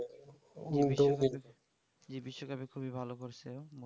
এই বিশ্ব কাপে খুবই ভালো করছে